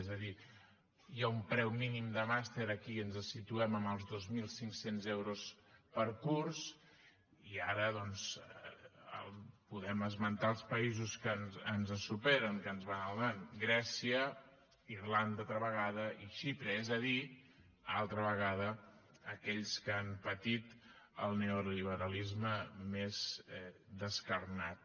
és a dir hi ha un preu mínim de màster aquí ens situem en els dos mil cinc cents euros per curs i ara doncs podem esmentar els països que ens superen que ens van al davant grècia irlanda altra vegada i xipre és a dir altra vegada aquells que han patit el neoliberalisme més descarnat